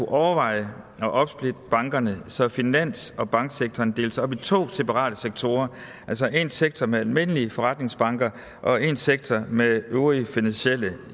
overveje at opsplitte bankerne så finans og banksektoren deles op i to separate sektorer altså en sektor med almindelige forretningsbanker og en sektor med øvrige finansielle